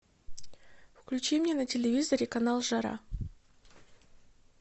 включи мне на телевизоре канал жара